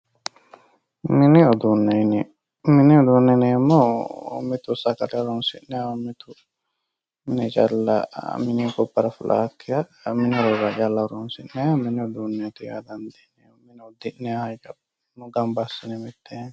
Mini uduune, mini uduune yineemmohu mitu sagale horonsi'nanniho mitu mine calla mininni gobbara fulakkiha mini horora calla horonsi'nanniha mini uduuneti yaa dandiinanni mine udi'nannihanno gamba assine mitteenni.